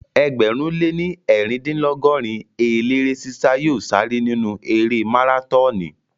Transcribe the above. Ẹgbẹ̀rún lé ní eerindinlogorin eléré sí sá yóò sáré nínu erée márátọọnì